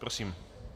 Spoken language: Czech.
Prosím.